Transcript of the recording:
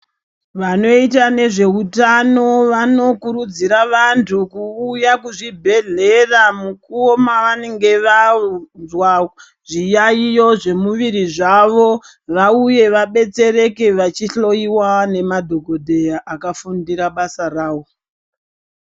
Vanoita nezveutano vanokurudzira vantu kuuya kuzvibhedhlera mukuwo mavanenge vanzwa zviyaiyo zvemiviri zvavo vauye vabetsereke vachihloiwa nemadhogodheya akafundira basa rawo.